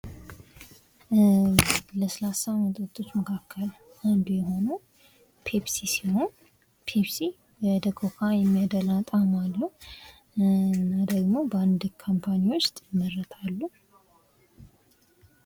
ለስላሳ መጠጦች መካከል አንዱ የሆነው ፔፕሲ ሲሆን ፔፕሲ ወደ ኮካ የሚያደላ ጣህም አለው እና ደሞ በአንድ ካምፓኒ ዉስጥ የመረታሉ።